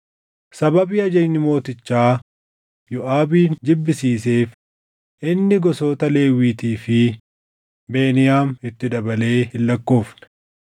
Sababii ajajni mootichaa Yooʼaabin jibbisiiseef inni gosoota Lewwiitii fi Beniyaam itti dabalee hin lakkoofne.